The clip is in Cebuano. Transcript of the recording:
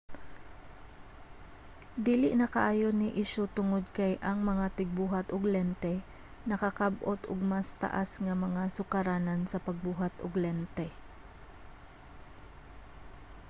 dili na kaayo ni isyu tungod kay ang mga tigbuhat og lente nakakab-ot og mas taas nga mga sukaranan sa pagbuhat og lente